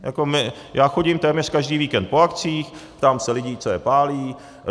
Já chodím téměř každý víkend po akcích, ptám se lidí, co je pálí.